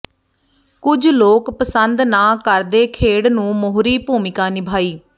ਕੁਝ ਲੋਕ ਪਸੰਦ ਨਾ ਕਰਦੇ ਖੇਡ ਨੂੰ ਮੋਹਰੀ ਭੂਮਿਕਾ ਨਿਭਾਈ